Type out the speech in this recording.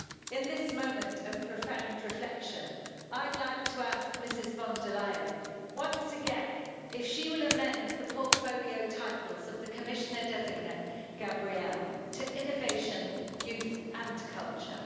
In this moment of profound reflection, I'd like to ask Ms von der Leyen once again if she will amend the portfolio title of the Commissioner designate Gabriel to Innovation, Youth and Culture.